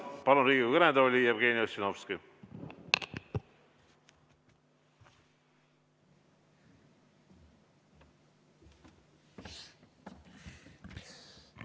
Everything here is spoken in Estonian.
Palun Riigikogu kõnetooli Jevgeni Ossinovski!